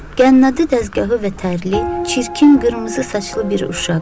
Qənnadı dəzgahı və tərli, çirkin qırmızı saçlı bir uşaq.